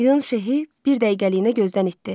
İyun Şehi bir dəqiqəliyinə gözdən itdi.